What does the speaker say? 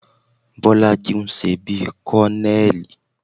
Bọ́lájí ń ṣe bí kọ́nẹẹ̀lì